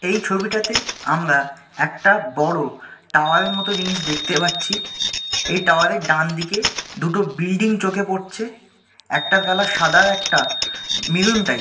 এই ছবিটাতে আমরা একটা বড়ো টাওয়ার -এর মতো জিনিস দেখতে পাচ্ছি। এই টাওয়ার -এর ডানদিকে দুটো বিল্ডিং চোখে পড়ছে একটার কালার সাদা একটা মেরুন টাইপ ।